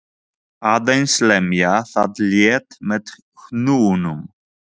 Þið voruð tvíburar, er það ekki?